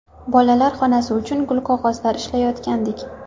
Bolalar xonasi uchun gulqog‘ozlar izlayotgandik.